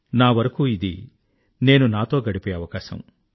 నా వరకూ ఇది నేను నాతో గడిపే అవకాశం